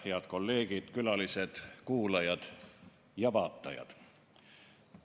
Head kolleegid, külalised, kuulajad ja vaatajad!